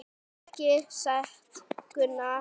Ekki satt Gunnar?